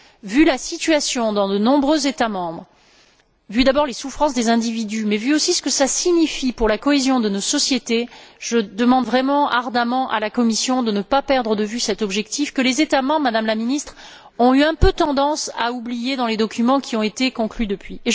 Vu la situation dans de nombreux États membres, vu d'abord les souffrances des individus, mais vu aussi ce que cela signifie pour la cohésion de nos sociétés, je demande vraiment ardemment à la Commission de ne pas perdre de vue cet objectif, que les États membres, Madame la Ministre, ont eu un peu tendance à oublier dans les documents qui ont été conclus depuis.